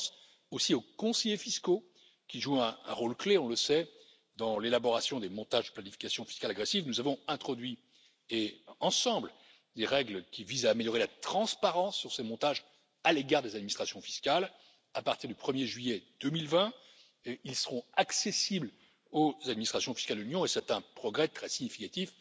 Je pense aussi aux conseillers fiscaux qui jouent un rôle clé dans l'élaboration des montages de planification fiscale agressive. Nous avons introduit, ensemble, des règles qui visent à améliorer la transparence sur ces montages à l'égard des administrations fiscales à partir du 1er juillet 2020, qui seront accessibles aux administrations fiscales de l'Union, c'est un progrès très significatif.